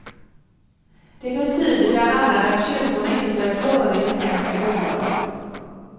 Det betyder, bland annat, att kyrkorna inte får ett öre i offentliga bidrag.